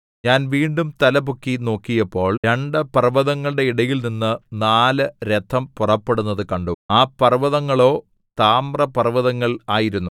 ഞാൻ വീണ്ടും തലപൊക്കി നോക്കിയപ്പോൾ രണ്ടു പർവ്വതങ്ങളുടെ ഇടയിൽനിന്ന് നാല് രഥം പുറപ്പെടുന്നതു കണ്ടു ആ പർവ്വതങ്ങളോ താമ്രപർവ്വതങ്ങൾ ആയിരുന്നു